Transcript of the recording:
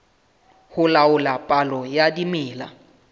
ho laola palo ya dimela